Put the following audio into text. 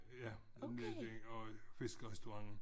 Ja nede der og fiskerestaurenten